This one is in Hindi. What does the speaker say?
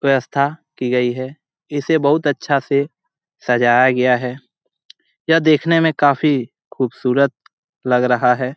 व्यवस्था की गई है इसे बहुत अच्छा से सजाया गया है ये देखने में काफी खूबसूरत लग रहा है।